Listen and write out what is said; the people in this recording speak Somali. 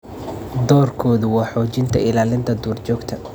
Doorkoodu waa xoojinta ilaalinta duurjoogta.